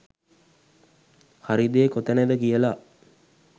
හරි දේ කොතනද කියලා.